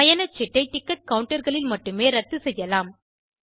பயணச்சீட்டை ticket counter களில் மட்டுமே ரத்து செய்யலாம்